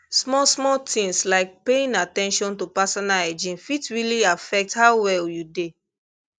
small small things like paying at ten tion to personal hygiene fit really affect how well you dey